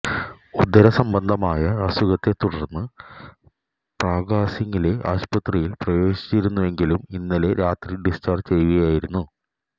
ഉദരസംബന്ധമായ അസുഖത്തെ തുടര്ന്ന് പ്രഗ്യാസിങ്ങിനെ ആസ്പത്രിയില് പ്രവേശിപ്പിച്ചിരുന്നെങ്കിലും ഇന്നലെ രാത്രി ഡിസ്ചാര്ജ്ജ് ചെയ്യുകയായിരുന്നു